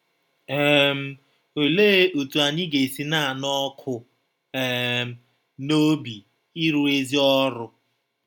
um Ọlee ọtụ anyị ga - esi “ na - anụ ọkụ um n’ọbi ịrụ ezi ọrụ ”?